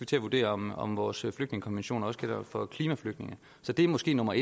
til at vurdere om om vores flygtningekonvention også gælder for klimaflygtninge det er måske nummer